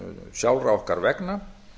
sjálfra okkar vegna